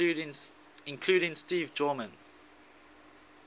including steve gorman